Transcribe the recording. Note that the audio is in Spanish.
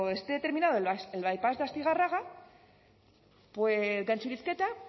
esté terminado el by pass de astigarraga gantxurizketa